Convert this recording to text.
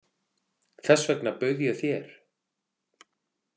Þess vegna bauð ég þér.